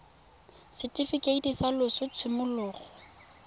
setifikeiti sa loso sa tshimologo